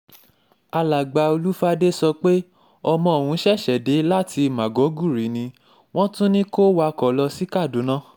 alàgbà olùfàdé sọ pé ọmọ òun ṣẹ̀ṣẹ̀ dé láti mágọ́gùrì ni wọ́n tún ní kó wakọ̀ lọ sí kaduna